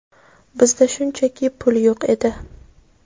Bizda shunchaki pul yo‘q edi.